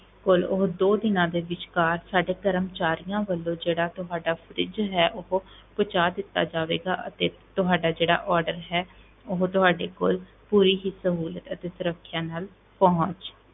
ਕੋਲ ਉਹ ਦੋ ਦਿਨਾਂ ਦੇ ਵਿਚਕਾਰ ਸਾਡੇ ਕਰਮਚਾਰੀਆਂ ਵੱਲੋਂ ਜਿਹੜਾ ਤੁਹਾਡਾ fridge ਹੈ ਉਹ ਪਹੁੰਚਾ ਦਿੱਤਾ ਜਾਵੇਗਾ ਅਤੇ ਤੁਹਾਡਾ ਜਿਹੜਾ order ਹੈ, ਉਹ ਤੁਹਾਡੇ ਕੋਲ ਪੂਰੀ ਹੀ ਸਹੂਲਤ ਅਤੇ ਸੁਰੱਖਿਆ ਨਾਲ ਪਹੁੰਚ